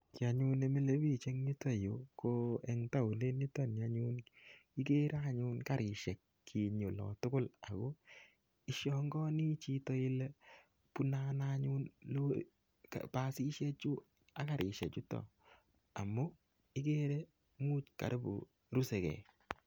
Kiy anyun nemile bich eng yutoyu, ko eng taonit nitoni anyun, ikere anyun karisiek kinyi ola tugul. Ako ishangaani chito ile bune ano anyun basisiek chu, ak kaerisiek chutok . Amu ikere imuch karibu rusekey.